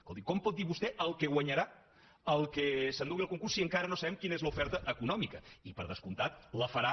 escolti com pot dir vostè el que guanyarà el que s’endugui el concurs si encara no sabem quina és l’oferta econòmica i per descomptat la farà